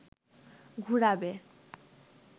ঘুরাবে